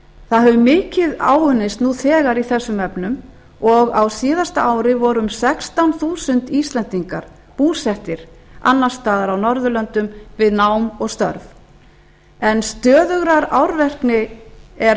það hefur mikið áunnist nú þegar í þessum efnum og á síðasta ári voru um sextán þúsund íslendingar búsettir annars staðar á norðurlöndum við nám og störf en stöðugrar árvekni er